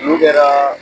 N'u kɛra